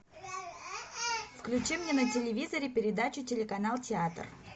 включи мне на телевизоре передачу телеканал театр